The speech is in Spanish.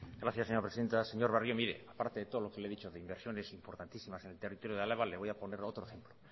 gracias señora presindeta señor barrio mire aparte de todo lo que le he dicho de inversiones importantísimas en territorio de álava le voy a poner otro ejemplo